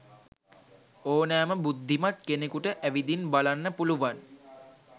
ඕනෑම බුද්ධිමත් කෙනෙකුට ඇවිදින් බලන්න පුළුවන්